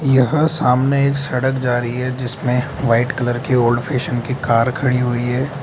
यहां सामने एक सड़क जा रही है जिसमें व्हाइट कलर की ओल्ड फैशन की कार खड़ी हुई है।